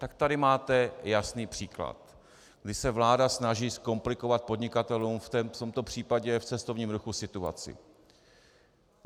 Tak tady máte jasný příklad, kdy se vláda snaží zkomplikovat podnikatelům, v tomto případě v cestovním ruchu, situaci.